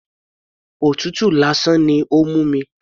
Òtútù lásán ni ó ń mú mi.